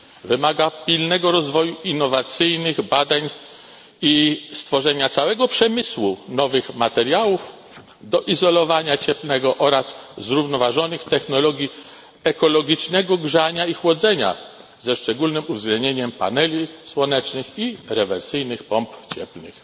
Wymaga pilnego rozwoju innowacyjnych badań i stworzenia całego przemysłu nowych materiałów do izolowania cieplnego oraz zrównoważonych technologii ekologicznego grzania i chłodzenia ze szczególnym uwzględnieniem paneli słonecznych i rewersyjnych pomp cieplnych.